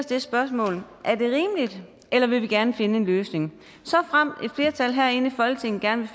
det spørgsmål er det rimeligt eller vil vi gerne finde en løsning såfremt et flertal herinde i folketinget gerne